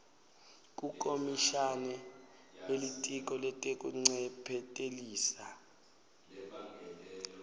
kukomishana welitiko letekuncephetelisa